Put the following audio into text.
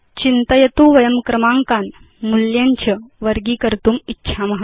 चिन्तयतु वयं क्रमाङ्कान् मूल्यं च वर्गीकर्तुम् इच्छाम